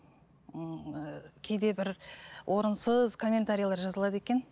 ыыы кейде бір орынсыз комментариялар жазылады екен